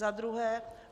Za druhé.